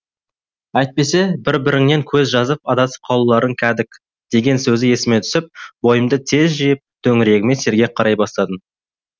әйтпесе бір біріңнен көз жазып адасып қалуларың кәдік деген сөзі есіме түсіп бойымды тез жиып төңірегіме сергек қарай бастадым